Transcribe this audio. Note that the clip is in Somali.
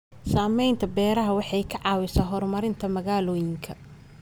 Samaynta beero waxay ka caawisaa horumarinta magaalooyinka.